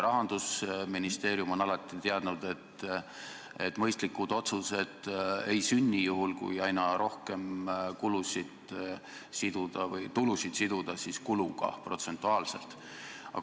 Rahandusministeerium on alati teadnud, et mõistlikud otsused ei sünni juhul, kui aina rohkem tulusid siduda protsentuaalselt kuludega.